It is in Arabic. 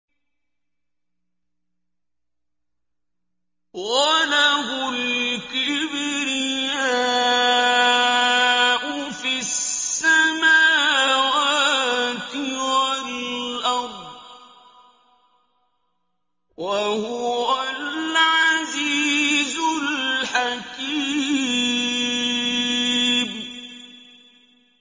وَلَهُ الْكِبْرِيَاءُ فِي السَّمَاوَاتِ وَالْأَرْضِ ۖ وَهُوَ الْعَزِيزُ الْحَكِيمُ